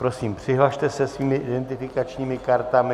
Prosím, přihlaste se svými identifikačními kartami.